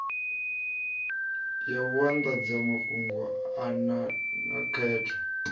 ya vhuanḓadzamafhungo na ya khetho